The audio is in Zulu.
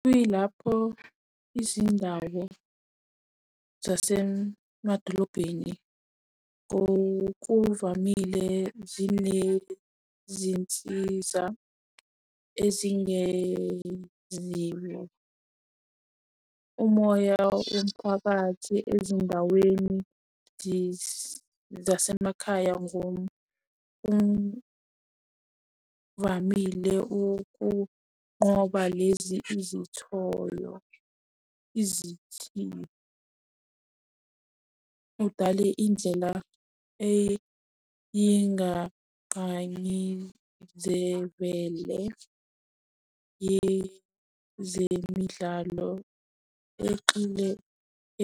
Kuyilapho izindawo zasemadolobheni ngokuvamile zinezinsiza ezingenziwa. Umoya womphakathi ezindaweni zasemakhaya ngokuvamile ukunqoka lezi izithoyo izithiyo. Udale indlela yezemidlalo exile